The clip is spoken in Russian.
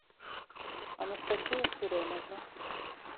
анастасия суреновна